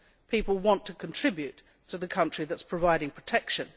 People want to contribute to the country that is providing protection.